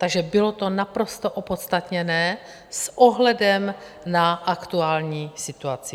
Takže bylo to naprosto opodstatněné s ohledem na aktuální situaci.